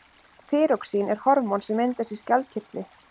þýróxín er hormón sem myndast í skjaldkirtli